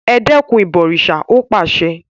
Ẹ dẹ́kun “ ìbọ̀rìsà ”! ó pàsẹ.